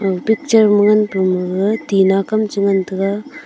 aga picture ma ngan pu ma gaga tina kam cha ngan taga.